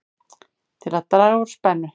Til að draga úr spennu